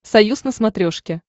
союз на смотрешке